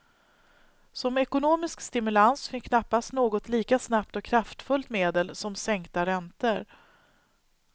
Som ekonomisk stimulans finns knappast något lika snabbt och kraftfullt medel som sänkta räntor.